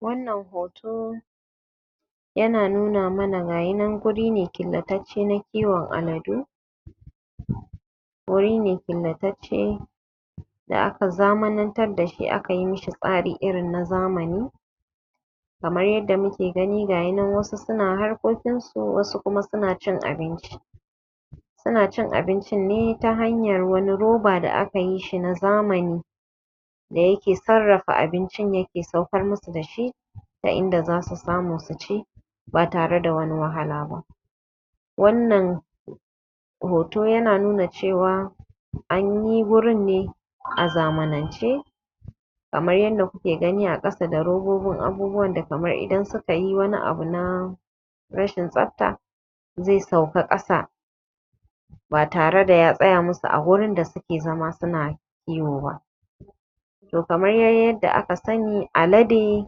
Wannan hoto yana nuna mana gashinan wurine, ƙillatace ha kiwon aladu wuri ne ƙillatace da aka zamanantan da shi aka yi mishi tsari irin na zamani kamar yadda muke gani, gashi wayansu suna harkokin su, wasu kuma suna ci abinci suna cin abinci ne ta hanyar wani roba da aka yi shi na zamani da yake sarrafa abincin, yake saukar musu da shi ta inda zasu samu su ci ba tare da wani wahala ba wannan hoto yana nuna cewa anyi wurin ne a zamanance kamar yadda kuke gani a ƙasa da robbobin abbubuwan da kamar idan sukayi wani abu na rashin tsafta ze sauka ƙasa ba tare da ya tsaya musu a wurin da suke zama su na yo wa to kamar de yadda aka sani alade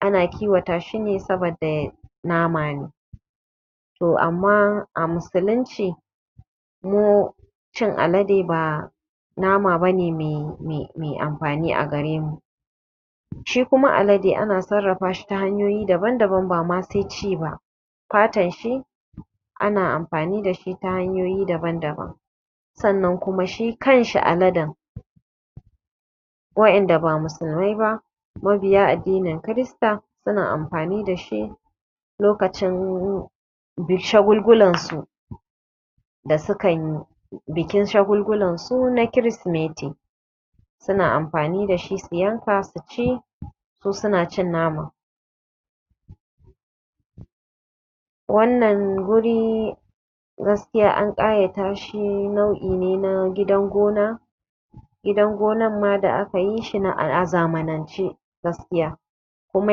ana kiwata shi ne saboda nama ne to amma a musulunci mu cin alade ba nama bane me amfni a gare mu si kuma alade ana sarrafa shi ta hanyoyi daban-daban, ba ma se ci ba fatan shi ana amfani da shi ta hanyoyi daban-daban sannan kuma shi kanshi aladan wayanda ba musulmai ba mabiya addinin kirista suna amfani da shi lokacin shagulgularsu sa sukan yi bikin shagulgularsu na krisimeti suna amfani da shi, su yanka su ci su, suna cin naman wannan wuri gaskiya an ƙayata shi lau'i ne na gidan gona gidan gonan ma da aka yi shi a zamanince gaskiya kuma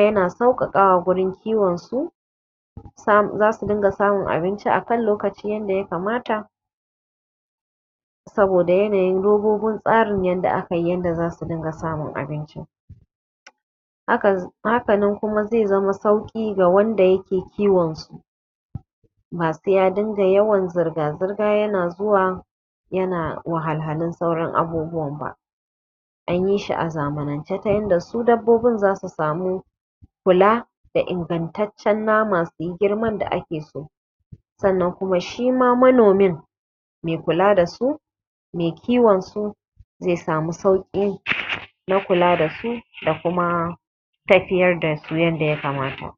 ya sauƙaka wa wurin kiwon su za su dinga samun abinci akan lokaci yadda ya kamata saboda yanayin robbobin tsarin yanda aka yi yanda za su dinga samun abincin hakanan kuma ze zama sauƙi ga wanda yake kiwon su ba se ya dinga yawan zurga-zurga yana zuwa anyi shi a zamanince ta yin da su dabbobin zasu samu kula da ingantaccen nama, suyi girman da ake so sannan kuma shima manomin mai kula dasu me kiwon su ze samu sauƙin na kula da su da kuma tafiyar da su yadda ya kamata.